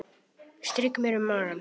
Strýk mér um magann.